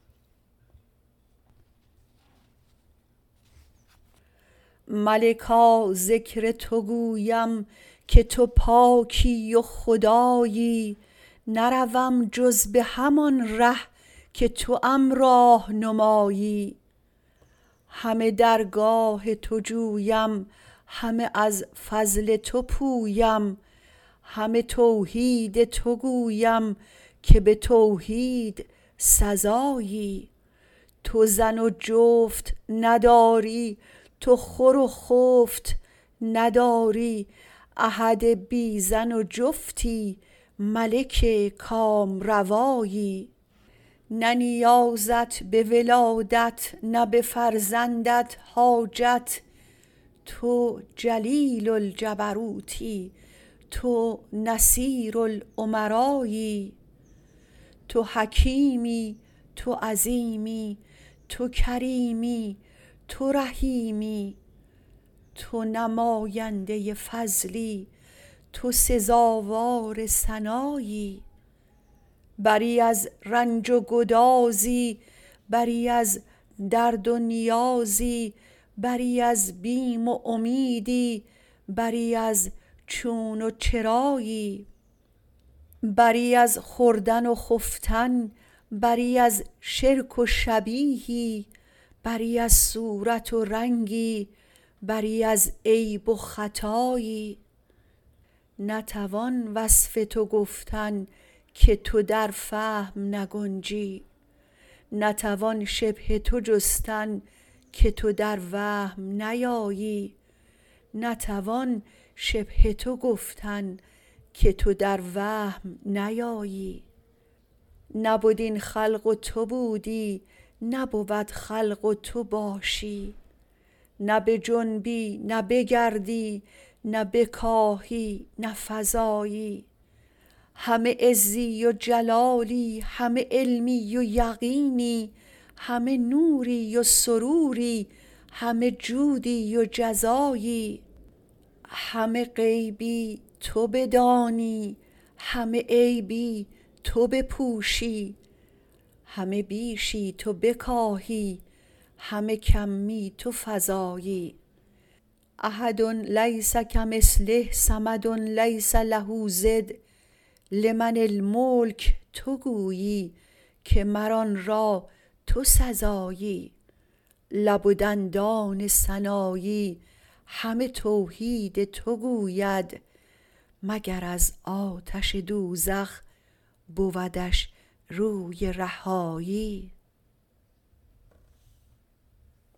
به خدای ار گل بهار بوی با کژی خوارتر ز خار بوی راستان رسته اند روز شمار جهد کن تا تو ز آن شمار بوی اندر این رسته رستگاری کن تا در آن رسته رستگاری بوی